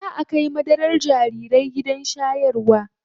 Zaa a kai madarar jarirai gidan shayarwa.